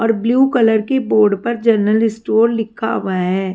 और blue colour के board पर जनरल स्टोर लिखा हुआ है।